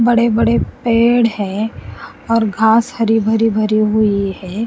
बड़े बड़े पेड़ हैं और घास हरी भरी भरी हुई है।